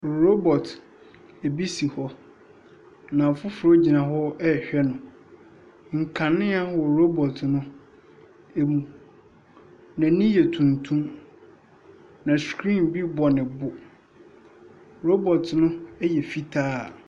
Robɔt ebi si hɔ. Na foforo gyina hɔ ɛhwɛ no. Nkanea wɔ robɔt no emu. N'ani yɛ tuntum. Na skreen bi bɔ ne bo. Robɔt no ɛyɛ fitaa.